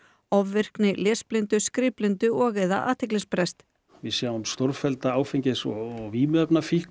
ofvirkni lesblindu skrifblindu og eða athyglisbrest við sjáum stórfellda áfengis og vímuefnafíkn